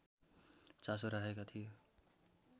चासो राखेका थिए